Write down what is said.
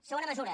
segona mesura